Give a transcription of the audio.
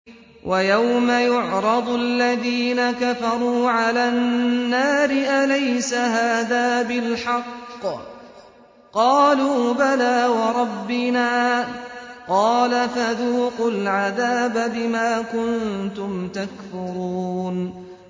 وَيَوْمَ يُعْرَضُ الَّذِينَ كَفَرُوا عَلَى النَّارِ أَلَيْسَ هَٰذَا بِالْحَقِّ ۖ قَالُوا بَلَىٰ وَرَبِّنَا ۚ قَالَ فَذُوقُوا الْعَذَابَ بِمَا كُنتُمْ تَكْفُرُونَ